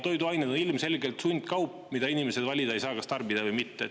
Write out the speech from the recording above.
Toiduained on ilmselgelt sundkaup, mille puhul inimesed ei saa valida, kas tarbida või mitte.